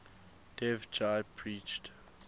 dev ji preached